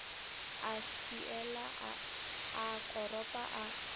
a swiela a koropa a